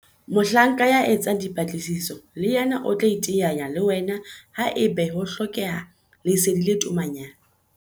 Mohlanka ya etsang dipatlisiso le yena o tla iteanya le wena haeba ho hlokeha lesedi le tomanyana.